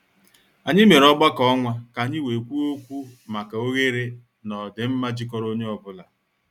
Anyị mere ọgbakọ ọnwa ka anyị wee kwuo okwu maka oghere na ọdịmma jikọrọ onye ọ bụla.